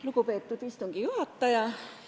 Lugupeetud istungi juhataja!